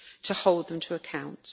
to hold them to account.